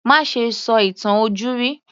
Má ṣe sọ ìtàn ojúrí